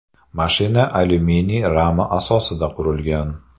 Mashina alyuminiy rama asosida qurilgan.